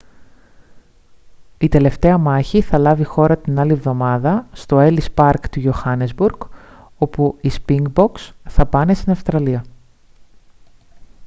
η τελευταία μάχη θα λάβει χώρα την άλλη εβδομάδα στο έλις παρκ του johannesburg όπου οι σπινγκμποκς θα πάνε στην αυστραλία